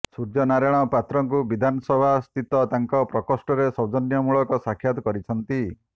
ସୂର୍ଯ୍ୟ ନାରାୟଣ ପାତ୍ରଙ୍କୁ ବିଧାନସଭାସ୍ଥିତ ତାଙ୍କ ପ୍ରକୋଷ୍ଠରେ ସୌଜନ୍ୟମୂଳକ ସାକ୍ଷାତ କରିଛନ୍ତି